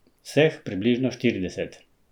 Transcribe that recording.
Vseh približno štirideset.